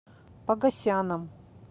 погосяном